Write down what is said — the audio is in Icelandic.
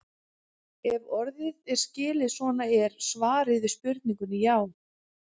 Ef orðið er skilið svona er svarið við spurningunni já.